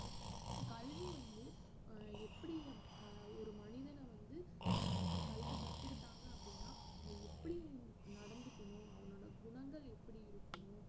கல்வி வந்து அஹ் எப்படி அஹ் ஒரு மனிதன வந்து அஹ் கல்வி கத்துக்கிட்டாங்க அப்படின்னா அவங்க எப்படி நடந்துக்கணும் அவங்களோட குணங்கள் எப்படி இருக்கணும்